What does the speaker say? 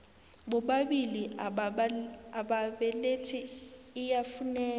bobabili ababelethi iyafuneka